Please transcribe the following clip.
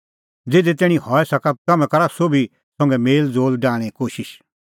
ज़िधी तैणीं हई सका तम्हैं करै सोभी लोगा संघै मेल़ज़ोल़ डाहणें कोशिश